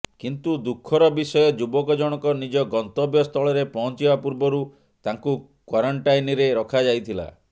କିନ୍ତୁ ଦୁଃଖର ବିଷୟ ଯୁବକ ଜଣକ ନିଜ ଗନ୍ତବ୍ୟ ସ୍ଥଳରେ ପହଞ୍ଚିବା ପୂର୍ବରୁ ତାଙ୍କୁ କ୍ୱାରେଣ୍ଟାଇନ୍ରେ ରଖାଯାଇଥିଲା